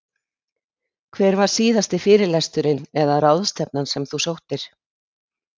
Hver var síðasti fyrirlesturinn eða ráðstefnan sem þú sóttir?